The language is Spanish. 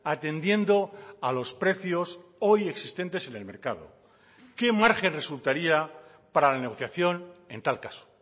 atendiendo a los precios hoy existentes en el mercado qué margen resultaría para la negociación en tal caso